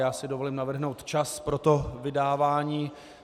Já si dovolím navrhnout čas pro to vydávání.